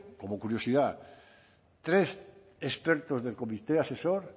como curiosidad tres expertos del comité asesor